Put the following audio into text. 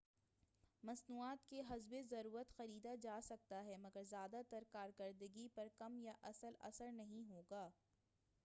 مصنوعات کو حسبِ ضرورت خریدا جاسکتا ہے مگر زیادہ تر کا کارکرگی پر کم یا کوئی اصل اثر نہیں ہوگا